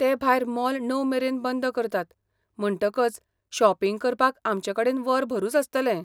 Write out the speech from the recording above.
ते भायर मॉल णव मेरेन बंद करतात म्हणटकच शॉपिंग करपाक आमचेकडेन वरभरूच आसतलें.